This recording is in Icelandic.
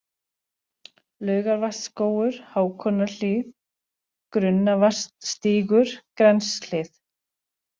Laugarvatnsskógur, Hákonarhlíð, Grunnavatnsstígur, Grenshlið